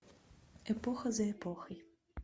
эпоха за эпохой